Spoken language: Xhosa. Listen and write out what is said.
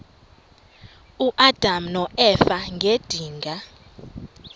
uadam noeva ngedinga